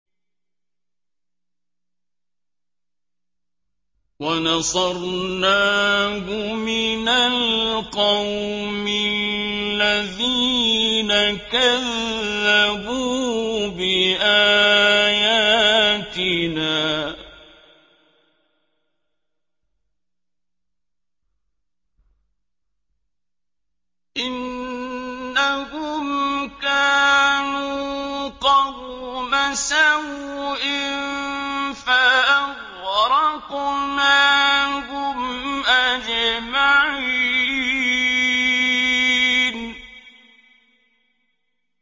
وَنَصَرْنَاهُ مِنَ الْقَوْمِ الَّذِينَ كَذَّبُوا بِآيَاتِنَا ۚ إِنَّهُمْ كَانُوا قَوْمَ سَوْءٍ فَأَغْرَقْنَاهُمْ أَجْمَعِينَ